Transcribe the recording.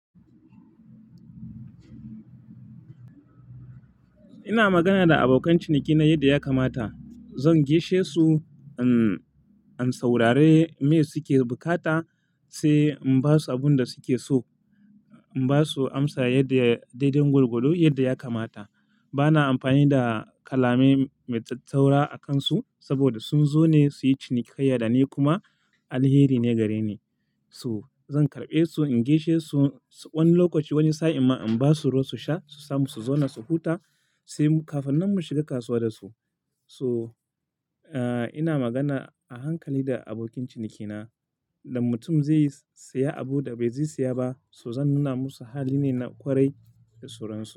Ina magana da abokan cinikina yadda ya kamata. Zan gaishe su, uhm, in saurari me suke bukata sai in ba su abin da suke so. In ba su amsa yadda ya dai-dai gwargwado yadda ya kamata. Bana amfani da kalamai mai tsattsaura a kan su saboda sun zo ne su yi cinikayya da ni kuma alheri ne gare ni. Su-- zan karɓe su, in gaishe su, wani lokaci wani sa'in ma in ba su ruwa su sha, su samu su zauna su huta sai kafin nan mu shiga kasuwa da su. Su, uh, ina magana a hankali da abokin cinikina. Da mutum zai siya abun da bai zai siya ba, to zan nuna musu hali ne na ƙwarai da sauransu.